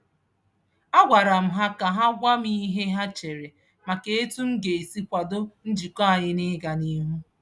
A gwara m ha ka ha gwa m ihe ha chere maka etu m ga-esi kwado njikọ anyị n'ịga n'ihu.